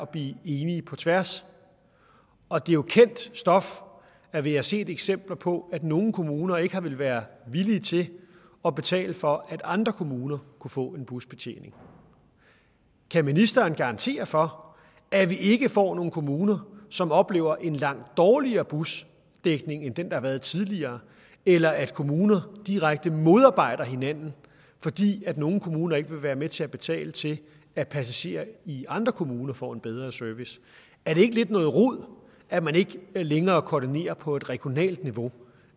blive enige på tværs og det er jo kendt stof at vi har set eksempler på at nogle kommuner ikke har været villige til at betale for at andre kommuner kunne få en busbetjening kan ministeren garantere for at vi ikke får nogle kommuner som oplever en langt dårligere busdækning end den der har været tidligere eller at kommuner direkte modarbejder hinanden fordi nogle kommuner ikke vil være med til at betale til at passagerer i andre kommuner får en bedre service er det ikke lidt noget rod at man ikke længere koordinerer på et regionalt niveau